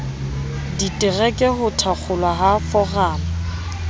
ditereke ho thakgolwa ha foramo